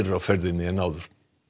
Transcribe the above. á ferðinni en áður